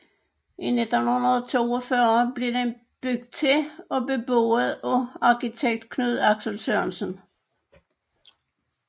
I 1942 blev den bygget til og beboet af arkitekt Knud Axel Sørensen